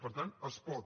per tant es pot